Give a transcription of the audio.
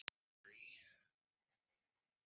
Við skulum þá hjóla í þá saman.